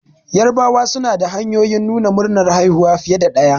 Yarabawa suna da hanyoyin nuna murnar haihuwa fiye da ɗaya